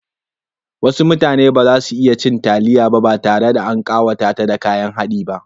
Wasu mutanen ba za su iya cin taliya ba tare da an ƙawata ta da kayan haɗi ba.